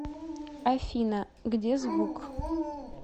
афина где звук